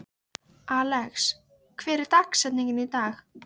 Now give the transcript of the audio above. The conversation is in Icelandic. Alex, hver er dagsetningin í dag?